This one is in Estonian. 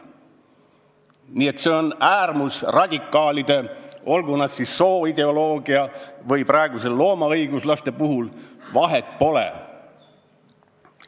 Nii et need on äärmusradikaalid, olgu nad siis seotud sooideoloogiaga või olgu nad loomaõiguslased – vahet pole.